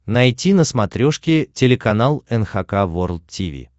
найти на смотрешке телеканал эн эйч кей волд ти ви